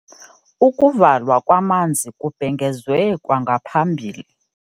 Ukuvalwa kwamanzi kubhengezwe kwangaphambili.